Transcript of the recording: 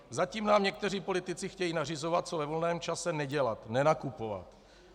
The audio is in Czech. Zatím nám někteří politici chtějí nařizovat, co ve volném čase nedělat - nenakupovat.